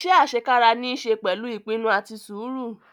Ise asekara ni i se pẹlu ipinnu ati sũru